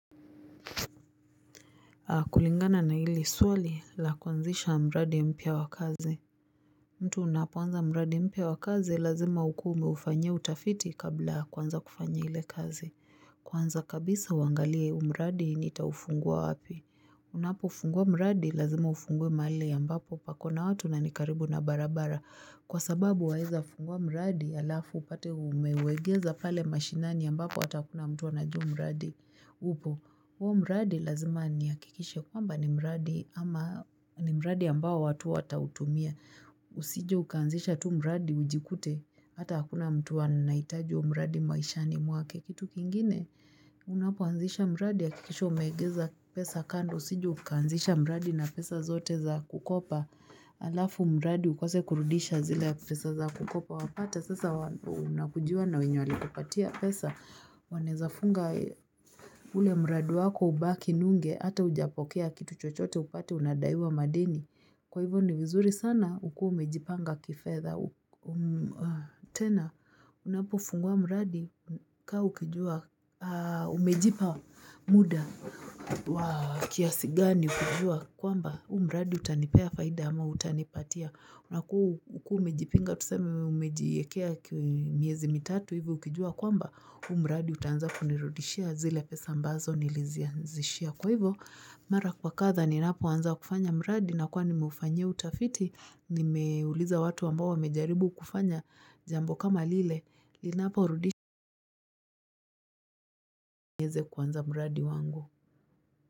Kulingana na hili swali la kuanzisha mradi mpya wa kazi. Mtu unapoanza mradi mpya wa kazi lazima ukuwe umeufanyia utafiti kabla ya kuanza kufanya ile kazi. Kwanza kabisa uangalie huu mradi nitaufungua wapi. Unapofungua mradi lazima ufungue mahali ambapo pako na watu na ni karibu na barabara kwa sababu waeza funguwa mradi halafu upate umeuegeza pale mashinani ambapo hata hakuna mtu anajua mradi. Upo, huo mradi lazima nihakikishe kwamba ni mradi ama ni mradi ambao watu watautumia. Usije ukaanzisha tu mraadi ujikute. Hata hakuna mtu anahitaji huo mradi maishani mwake. Kitu kingine, Unapoanzisha mradi hakikisha umeegeza pesa kando usije ukaanzisha mradi na pesa zote za kukopa halafu mradi ukose kurudisha zile pesa za kukopa. Wapata sasa unakujiwa na wenye walikupatia pesa wanaeza funga ule mradi wako ubaki nunge hata hujapokea kitu chochote upate unadaiwa madeni. Kwa hivyo ni vizuri sana ukuwe umejipanga kifedha. Tena unapofungua mradi kaa ukijua umejipa muda wa kiasi gani kujua kwamba huu mradi utanipea faida ama hutanipatia na ukuwe umejipinga, tuseme umejiekea miezi mitatu hivi ukijua kwamba huu mradi utaanza kunirudishia zile pesa ambazo nilizianzishia. Kwa hivo mara kwa kadhaa ninapoanza kufanya mradi nakuwa nimeufanyia utafiti, nimeuliza watu ambao wamejaribu kufanya jambo kama lile linaporudisha nieze kuanza mradi wangu.